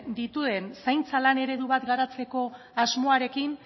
dituen zaintza lan eredu bat garatzeko asmoarekin